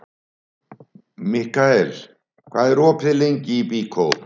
Mikkael, hvað er opið lengi í Byko?